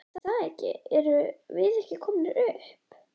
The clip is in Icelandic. Er það ekki erum við ekki komnir upp?